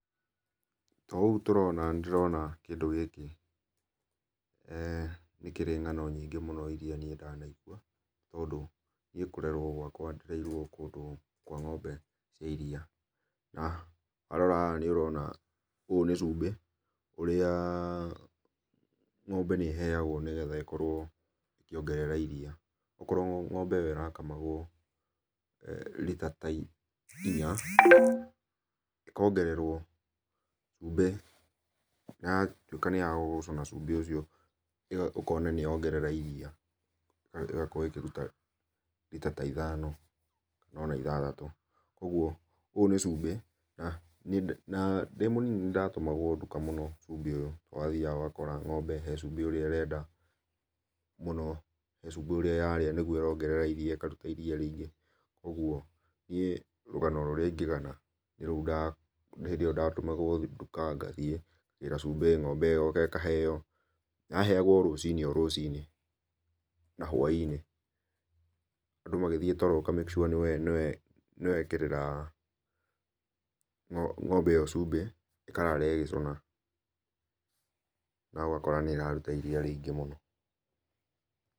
Ta ũguo tũrona nĩndĩrona kĩndũ gĩkĩ eeh nĩ kĩrĩ ngano nyingĩ mũno ĩrĩa ndana igũa, nĩ tondũ niĩ kũrerwo gwakwa ndereirwo kũndũ kwa ng'ombe cia iria, na warora haha nĩũraona ũyũ nĩ cumbĩ ũrĩa ng'ombe nĩĩheagwo nĩgetha ĩkĩongerea iria. Okorwo ng'ombe ĩyo ĩrakamagwo rita ta ĩnya ĩkongererwo cumbĩ na ĩgatuĩka nĩ ya gũcũna cumbĩ ũcio, ũkona nĩ ya ongerera iria, ĩgakorwo ĩkĩruta rita ta ithano ona ithathatũ, koguo ũyũ nĩ cumbĩ, na ndĩ mũnini nĩ ndatũmagwo ndũka mũno cumbĩ ũyũ, wathiaga ũgakora ng'ombe he cumbĩ ũrĩa ĩrenda, mũno he cumbĩ ũrĩa yarĩa nĩguo ĩraongerera iria ĩkarũta rĩingĩ. Koguo niĩ rũgano rũrĩa ĩngĩgana nĩ rũu nĩ hĩndĩ ĩyo ndatũmagwo ndũka gathiĩ ngagĩra cumbĩ ng'ombe ĩyo ĩkaheyo. Yaheyagwo o rũcinĩ o rũcinĩ na hwa-inĩ andũ magĩthiĩ toro ũka make sure nĩ waĩkĩrĩra ng'ombe ĩyo cumbĩ ĩkarara ĩgĩcuna, na ũgakora nĩ irarũta iria rĩingĩ mũno.